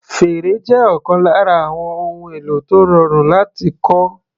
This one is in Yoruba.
Fèrè jẹ́ ọ̀kan lára àwọn ohun èlò tó rọrùn láti kọ́.